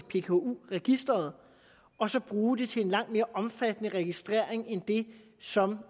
i pku registeret og så bruge dem til en langt mere omfattende registrering end det som